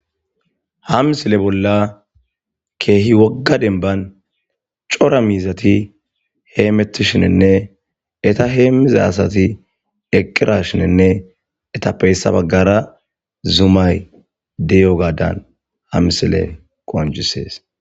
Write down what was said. Ha missile bola kehi woga denban c'ora mizati hemetishininne eta hemiza asati eqirashininne etape heysa bagara zumay de'iyagadan ha missile qonc'ises.